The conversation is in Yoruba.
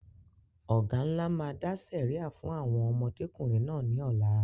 Ọ̀gá ńlá máa dá sẹ̀ríà fún àwọn ọmọdékùnrin náà ní ọ̀la